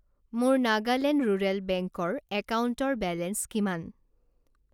মোৰ নাগালেণ্ড ৰুৰেল বেংকৰ একাউণ্টৰ বেলেঞ্চ কিমান?